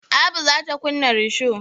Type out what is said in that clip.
Abu za ta kunna risho.